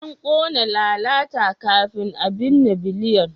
An kona lalata kafin a binne Biliyan.